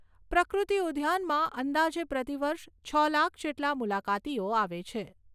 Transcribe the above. પ્રકૃતિ ઉદ્યાનમાં અંદાજે પ્રતિવર્ષ છ લાખ જેટલા મુલાકાતીઓ આવે છે.